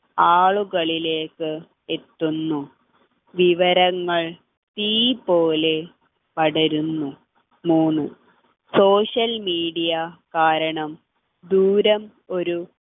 ആളുകളിലേക്ക് എത്തുന്നു വിവരങ്ങൾ തീ പോലെ പടരുന്നു മൂന്നു social media കാരണം ദൂരം ഒരു